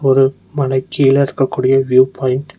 ஒரு மலைக்கீழருக்கக்கூடிய view point .